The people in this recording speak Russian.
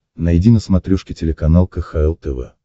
найди на смотрешке телеканал кхл тв